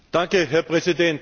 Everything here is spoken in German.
Herr Präsident!